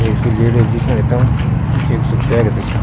एक सी लेडीज दिखेंणि तम एक स्यु बैग दिखेणु।